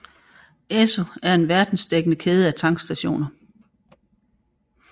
Esso er en verdensdækkende kæde af tankstationer